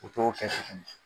U t'o kɛ